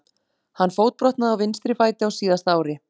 Hann fótbrotnaði á vinstri fæti á síðasta ári.